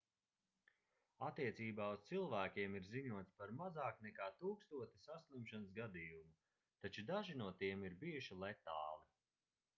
attiecībā uz cilvēkiem ir ziņots par mazāk nekā tūkstoti saslimšanas gadījumu taču daži no tiem ir bijuši letāli